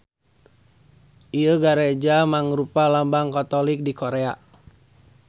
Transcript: Ieu gareja mangrupa lambang Katolik di Korea.